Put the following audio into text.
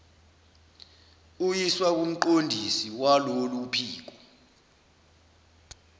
uyiswa kumqondisi walolophiko